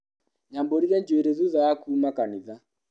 Nyambũrire njuĩrĩ thutha wa kuma kanitha.